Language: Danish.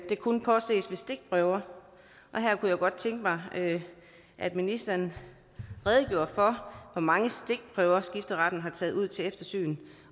kun påses ved stikprøver og her kunne jeg godt tænke mig at at ministeren redegjorde for hvor mange stikprøver skifteretten har taget ud til eftersyn